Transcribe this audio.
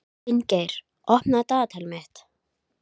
Finngeir, opnaðu dagatalið mitt.